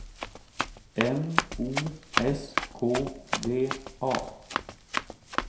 M O S K V A